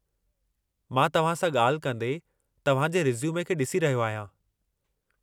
मां तव्हां सां ॻाल्हि कंदे तव्हां जे रिस्यूमे खे ॾिसी रहियो आहियां।